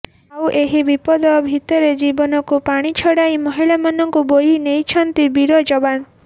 ଆଉ ଏହି ବିପଦ ଭିତରେ ଜୀବନକୁ ପାଣି ଛଡାଇ ମହିଳାଙ୍କୁ ବୋହି ନେଇଛନ୍ତି ବୀର ଯବାନ